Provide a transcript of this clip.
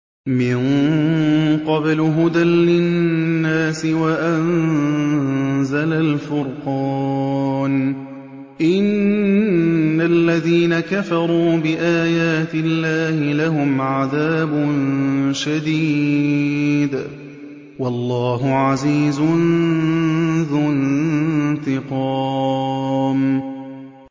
مِن قَبْلُ هُدًى لِّلنَّاسِ وَأَنزَلَ الْفُرْقَانَ ۗ إِنَّ الَّذِينَ كَفَرُوا بِآيَاتِ اللَّهِ لَهُمْ عَذَابٌ شَدِيدٌ ۗ وَاللَّهُ عَزِيزٌ ذُو انتِقَامٍ